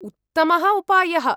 उत्तमः उपायः।